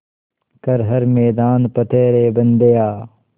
कर हर मैदान फ़तेह रे बंदेया